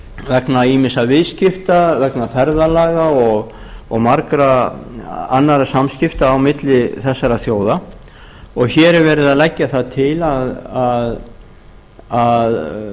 vegna ýmissa viðskipta vegna ferðalaga og margra annarra samskipta á milli þessara þjóða hér er verið að leggja það til að